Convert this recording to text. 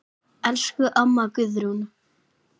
Elsku amma Guðrún.